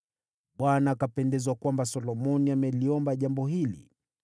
Bwana akapendezwa kwamba Solomoni ameliomba jambo hili.